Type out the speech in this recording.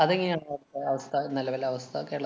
അതെങ്ങനെയാ അഹ് അവസ്ഥ നെലവിലെ അവസ്ഥ കേരളത്~